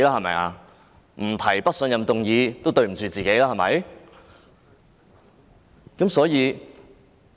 不提出不信任議案，也愧對自己吧？